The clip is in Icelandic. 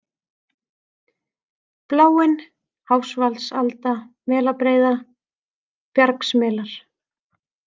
Bláin, Háfsvatnsalda, Melabreiða, Bjargsmelar